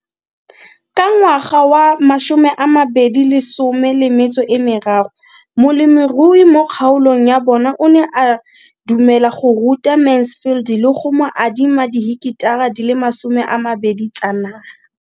Ka ngwaga wa 2013, molemirui mo kgaolong ya bona o ne a dumela go ruta Mansfield le go mo adima di heketara di le 12 tsa naga.